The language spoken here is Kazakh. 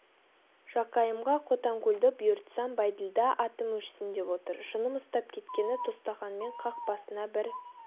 жақайымға қотанкөлді бұйыртсам бәйділда атым өшсін деп отыр жыным ұстап кеткені тостағанмен қақ басына бір